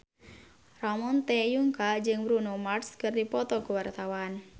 Ramon T. Yungka jeung Bruno Mars keur dipoto ku wartawan